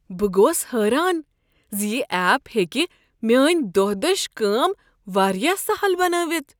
بہٕ گوس حیران ز یہ ایپ ہیکہ میٲنۍ دۄہ دش کٲم واریاہ سہل بنٲوتھ۔